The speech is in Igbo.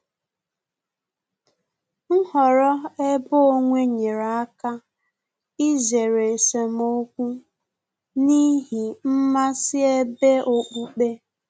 Nhọrọ ebe onwe nyere aka izere esemokwu n'ihi mmasị ebe okpukpe